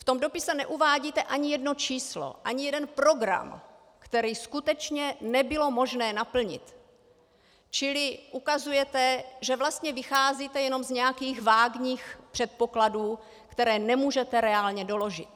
V tom dopise neuvádíte ani jedno číslo, ani jeden program, který skutečně nebylo možné naplnit, čili ukazujete, že vlastně vycházíte jen z nějakých vágních předpokladů, které nemůžete reálně doložit.